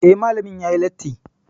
Eh, Malamin yayi latti